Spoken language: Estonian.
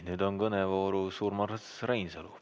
Nüüd on kõnevoorus Urmas Reinsalu.